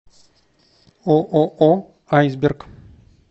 ооо айсберг